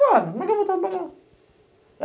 Como é que eu vou trabalhar?